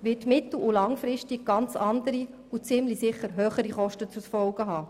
wird mittel- und langfristig ganz andere, und ziemlich sicher höhere Kosten zur Folge haben.